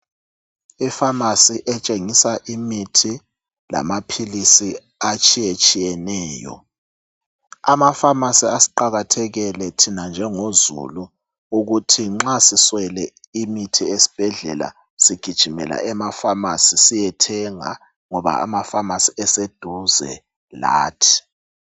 Efamasi etshengisa imithi lamaphilisi etshiyatshiyeneyo, amafamasi asiqakathekele thina njengozulu. Ukuthi nxa siswele imithi ezibhedlela sigijimela emafamasi siyethenga ngoba amafamasi aduze lathi.